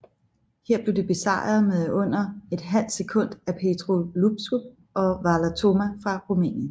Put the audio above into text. Her blev de besejret med under et halvt sekund af Petru Iosub og Valer Toma fra Rumænien